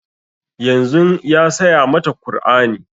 Yanzun ya saya mata kur'ani